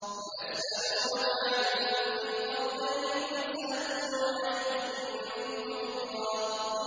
وَيَسْأَلُونَكَ عَن ذِي الْقَرْنَيْنِ ۖ قُلْ سَأَتْلُو عَلَيْكُم مِّنْهُ ذِكْرًا